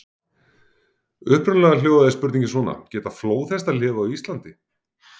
Upprunalega hljóðaði spurningin svona: Geta flóðhestar lifað á Íslandi?